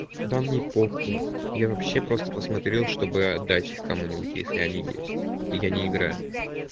да мне похуй я вообще просто посмотрел чтобы отдать их кому-нибудь если они есть и я не играю